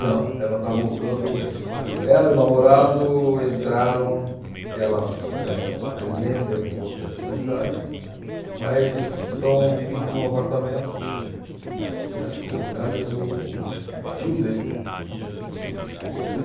Não, ela está voltando, o, ela e o namorado entraram, ela, âh, numa residência, ele em outra especialidade, mas estão dividindo um apartamento, que acho que na realidade é do tio dele. Tá. Eh